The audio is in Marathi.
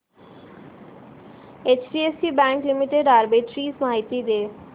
एचडीएफसी बँक लिमिटेड आर्बिट्रेज माहिती दे